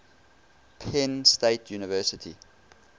penn state university